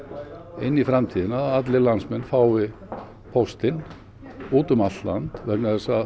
inn í framtíðina að allir landsmenn fái póstinn út um allt land vegna þess að